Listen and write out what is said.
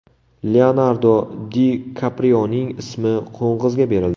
Leonardo Di Kaprioning ismi qo‘ng‘izga berildi.